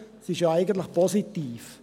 Das ist ja eigentlich positiv.